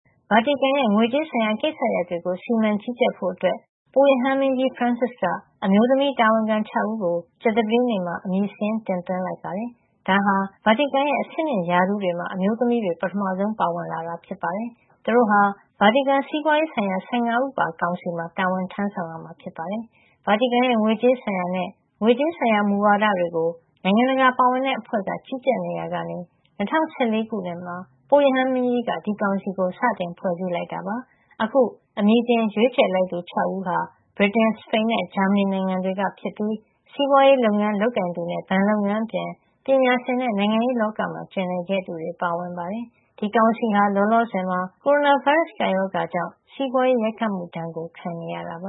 ဗာတီကန် ရဲ့ ငွေကြေးဆိုင်ရာကိစ္စရပ်တွေကို စီမံကြီးကြပ်ဖို့ အတွက် ပုပ်ရဟန်းမင်းကြီး ဖရန်စစ်က အမျိုးသမီး တာဝန်ခံ ၆ ဦးကို ကြာသပတေးနေ့မှာ အမည်စာရင်း တင်သွင်းလိုက်ပါတယ်။ ဒါဟာ ဗာတီကန်ရဲ့ အဆင့်မြင့်ရာထူးတွေမှာ အမျိုးသမီးတွေ ပထမဆုံး ပါဝင်လာတာ ဖြစ်ပါတယ်။ သူတို့ဟာ ဗာတီကန်စီးပွါးရေးဆိုင်ရာ ၁၅ ဦးပါ ကောင်စီမှာ တာဝန်ထမ်းဆောင် ရမှာ ဖြစ်ပါတယ်။ ဗာတီကန်ရဲ ငွေကြေးဆိုင်ရာနဲ့ ငွေကြေးဆိုင်ရာ မူဝါဒတွေကို နိုင်ငံတကာပါဝင်တဲ့ အဖွဲ့က ကြီးကြပ် နေရာကနေ ၂၀၁၄ ခုနှစ်မှာ ပုပ်ရဟန်းမင်းကြီးက ဒီကောင်စီကို စတင်ဖွဲ့စည်းခဲ့တာ ဖြစ်ပါတယ်။ အခု အမည်တင်ရွေးချယ်လိုက်သူ ၆ ဦးဟာ ဗြိတိန်၊ စပိန်နဲ့ ဂျာမဏီ နိုင်ငံတွေကဖြစ်ပြီး စီးပွါးရေး လုပ်ငန်းလုပ်ကိုင်သူနဲ့ ဘဏ်လုပ်ငန်းအပြင် ပညာရှင် နဲ့ နိုင်ငံရေးလောကမှာ ကျင်လည်ခဲ့သူတွေ ပါဝင်ပါတယ်။ ဒီကောင်စီဟာ လောလောဆယ်မှာ ကိုရိုနာဗိုင်းရပ်စ် ကပ်ရောဂါကြောင့် စီးပွါးရေး ရိုက်ခတ်မှု ဒဏ်ကို ခံနေရတာပ